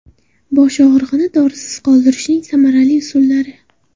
Bosh og‘rig‘ini dorisiz qoldirishning samarali usullari.